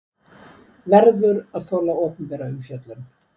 Verður að þola opinbera umfjöllun